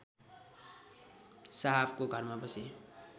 साहबको घरमा बसे